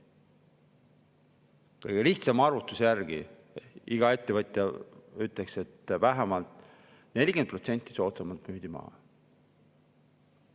Kõige lihtsama arvutuse järgi, iga ettevõtja ütleks, et vähemalt 40% soodsamalt müüdi need maha.